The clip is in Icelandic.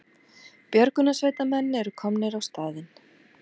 Björgunarsveitarmenn eru komnir á staðinn